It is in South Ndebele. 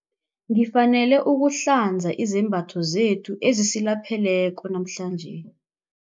Ngifanele ukuhlanza izembatho zethu ezisilapheleko namhlanje.